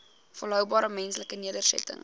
volhoubare menslike nedersettings